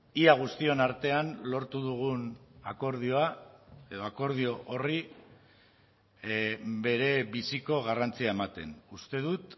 ia guztion artean lortu dugun akordioa edo akordio horri bere biziko garrantzia ematen uste dut